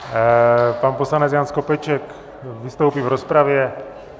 Pan poslanec Jan Skopeček vystoupí v rozpravě.